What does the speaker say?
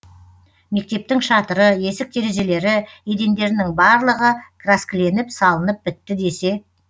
мектептің шатыры есік терезелері едендерінің барлығы краскіленіп салынып бітті десе